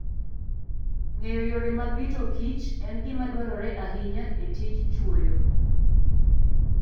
Ng'eyo yore mag rito kichen gima dwarore ahinya e tij chwoyo.